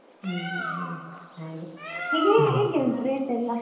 ಹ್ಮ್ ಹ್ಮ್ ಹ್ಮ್ ಹಾಗೆ ಈಗೆ ಹೇಗೆ ಉಂಟು rate ಎಲ್ಲ?